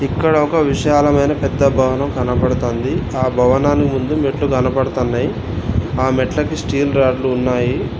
ఇక్కడ ఒక విశాలమైన పెద్ద భవనం కనబడుతోంది ఆ భావనాని ముందు మెట్లు కనపడుతున్నాయ్ ఆ మెట్లకి స్టీల్ రాడ్లు ఉన్నాయి.